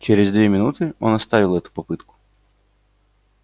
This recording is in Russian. через две минуты он оставил эту попытку